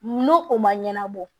N'o o ma ɲɛnabɔ